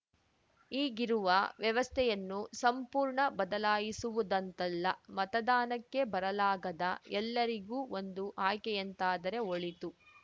ಈಗಿರುವ ವ್ಯವಸ್ಥೆಯನ್ನು ಸಂಪೂರ್ಣ ಬದಲಾಯಿಸುವುದಂತಲ್ಲ ಮತದಾನಕ್ಕೆ ಬರಲಾಗದ ಎಲ್ಲರಿಗೂ ಒಂದು ಆಯ್ಕೆಯಂತಾದರೆ ಒಳಿತು